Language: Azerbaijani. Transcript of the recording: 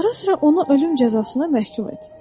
Araz-sıra onu ölüm cəzasına məhkum et.